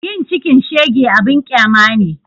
Yin cikin shege abun ƙyama ne